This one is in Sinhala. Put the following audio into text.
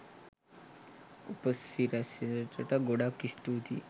උපසිරැසියට ගොඩක් ස්තුතියි